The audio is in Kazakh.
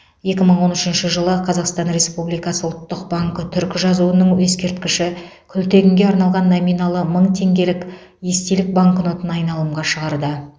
екі мың он сегізінші жылы қазақстан республикасы ұлттық банкі түркі жазуының ескерткіші күлтегінге арналған номиналы мың теңгелік естелік банкнотын айналымға шығарды